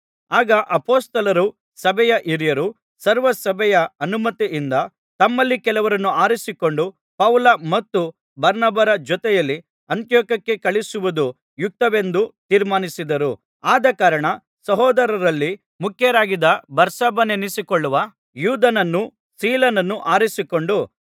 ಆಗ ಅಪೊಸ್ತಲರೂ ಸಭೆಯ ಹಿರಿಯರೂ ಸರ್ವಸಭೆಯ ಅನುಮತಿಯಿಂದ ತಮ್ಮಲ್ಲಿ ಕೆಲವರನ್ನು ಆರಿಸಿಕೊಂಡು ಪೌಲ ಮತ್ತು ಬಾರ್ನಬರ ಜೊತೆಯಲ್ಲಿ ಅಂತಿಯೋಕ್ಯಕ್ಕೆ ಕಳುಹಿಸುವುದು ಯುಕ್ತವೆಂದು ತೀರ್ಮಾನಿಸಿದರು ಆದಕಾರಣ ಸಹೋದರರಲ್ಲಿ ಮುಖ್ಯರಾಗಿದ್ದ ಬಾರ್ಸಬ್ಬನೆನಿಸಿಕೊಳ್ಳುವ ಯೂದನನ್ನೂ ಸೀಲನನ್ನೂ ಆರಿಸಿಕೊಂಡು